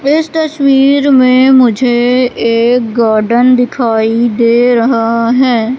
इस तस्वीर में मुझे एक गार्डन दिखाई दे रहा है।